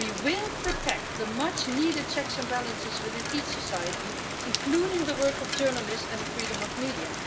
We will protect the much needed checks and balances within each society, including the work of journalists and the freedom of media.